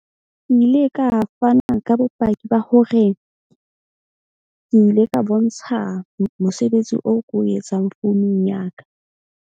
Ke ile ka fana ka bopaki ba hore, ke ile ka bontsha mosebetsi oo ko o etsang founung ya ka.